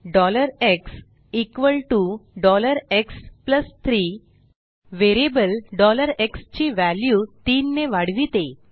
xx3 variable x ची value 3 ने वाढविते